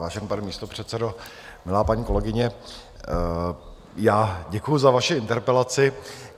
Vážený pane místopředsedo, milá paní kolegyně, já děkuji za vaši interpelaci.